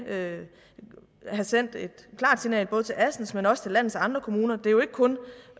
have sendt et klart signal både til assens kommune men også til landets andre kommuner det er jo ikke kun